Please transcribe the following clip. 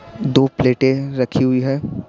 दो प्लेटें रखी हुई है।